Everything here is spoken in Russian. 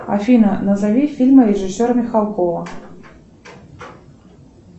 афина назови фильмы режиссера михалкова